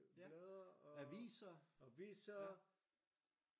Blade og aviser